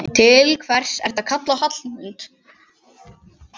Til hvers ertu að kalla á Hallmund?